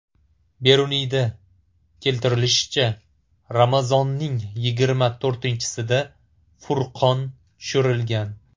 Beruniyda keltirilishicha, Ramazonning yigirma to‘rtinchisida Furqon tushirilgan.